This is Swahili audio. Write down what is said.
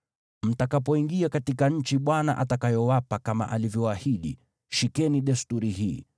Mtakapoingia katika nchi Bwana atakayowapa kama alivyoahidi, shikeni desturi hii.